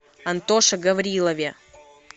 антоше гаврилове